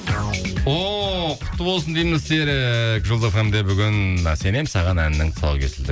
о құтты болсын дейміз серік жұлдыз фм де бүгін сенемін саған әнінің тұсауы кесілді